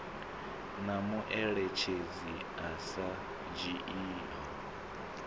na mueletshedzi a sa dzhiiho